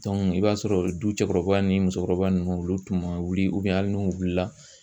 i b'a sɔrɔ du cɛkɔrɔba ni musokɔrɔba ninnu olu tun ma wuli hali n'u wulila